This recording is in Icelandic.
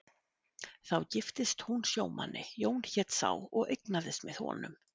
Þá giftist hún sjómanni, Jón hét sá, og eignast með honum